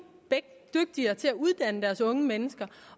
dygtigere til at uddanne deres unge mennesker